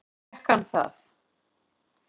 Fékk hann það?